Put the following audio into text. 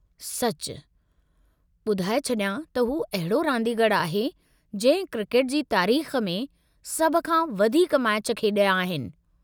सचु। ॿधाए छॾियां त हू अहिड़ो रांदीगरु आहे जंहिं क्रिकेट जी तारीख़ में सभ खां वधीक मैच खेॾिया आहिनि।